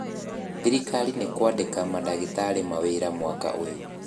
thirikari nĩkũandĩka madagĩtarĩ mawĩra mwaka ũyũ